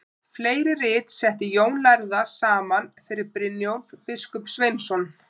Fleiri rit setti Jón lærði saman fyrir Brynjólf biskup Sveinsson.